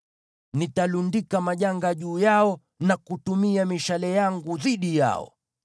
“Nitalundika majanga juu yao na kutumia mishale yangu dhidi yao.